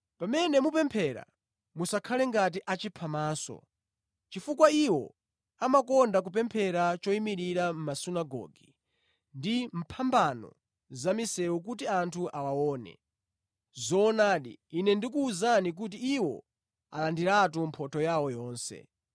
“Pamene mupemphera, musakhale ngati achiphamaso, chifukwa iwo amakonda kupemphera choyimirira mʼmasunagoge ndi pa mphambano za mʼmisewu kuti anthu awaone. Zoonadi, Ine ndikuwuzani kuti iwo alandiriratu mphotho yawo yonse.